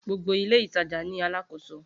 Gbogbo ile itaja ni aláàkòso.